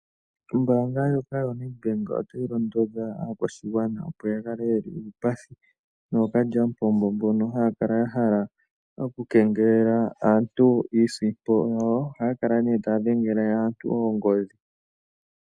Ombaanga yoNedbank otayi londodha aakwashigwana, opo ya kale yeli uupathi nookalyampombo mbono haya kala ya hala oku kengelela aantu iisimpo yawo. Ohaya kala ne taya dhengele aantu oongodhi.